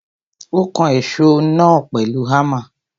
Ó kan èsó náà pèlu Hámà.